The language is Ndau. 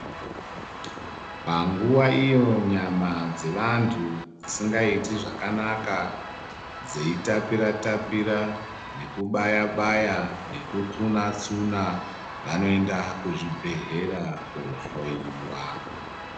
Panguwa iyo nyama dzevantu dzisingaiti zvakanaka dzeitapira tapira nekubaya baya nekutsuna tsuna vanoenda kuzvibhedhlera koohloyiwa.